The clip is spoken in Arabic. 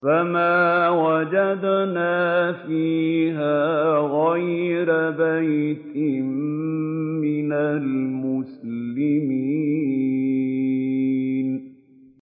فَمَا وَجَدْنَا فِيهَا غَيْرَ بَيْتٍ مِّنَ الْمُسْلِمِينَ